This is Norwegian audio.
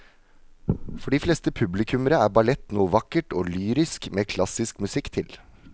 For de fleste publikummere er ballett noe vakkert og lyrisk med klassisk musikk til.